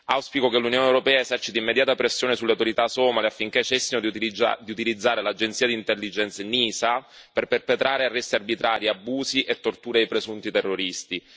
Auspico che l'Unione europea eserciti immediata pressione sulle autorità somale affinché cessino di utilizzare l'agenzia di intelligence NISA per perpetrare arresti arbitrari, abusi e torture ai presunti terroristi.